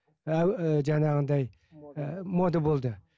ііі жаңағындай мода болды